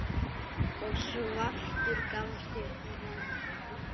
og svartur gafst upp.